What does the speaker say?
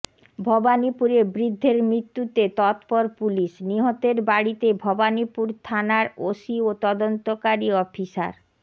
ভবানীপুরে বৃদ্ধের মৃত্যুতে তৎপর পুলিশ নিহতের বাড়িতে ভবানীপুর থানার ওসি ও তদন্তকারী অফিসার